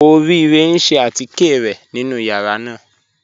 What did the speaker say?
Orire n ṣẹ̀ àtíkẹ̀ rẹ̀ nínu yàrá náà.